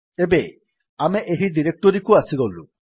ଏବେ ଆମେ ଏହି ଡିରେକ୍ଟୋରୀକୁ ଆସିଗଲୁ